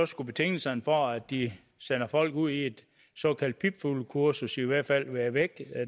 skulle betingelserne for at de sender folk ud i et såkaldt pipfuglekursus i hvert fald være væk